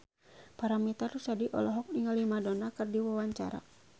Paramitha Rusady olohok ningali Madonna keur diwawancara